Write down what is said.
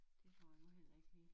Det får jeg nu heller ikke lige